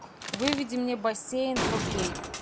выведи мне бассейн фо кей